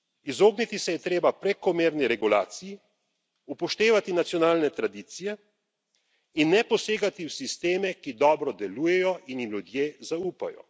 Izogniti se je treba prekomerni regulaciji, upoštevati nacionalne tradicije in ne posegati v sisteme, ki dobro delujejo in jim ljudje zaupajo.